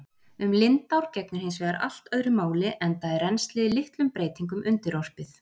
Um lindár gegnir hins vegar allt öðru máli enda er rennslið litlum breytingum undirorpið.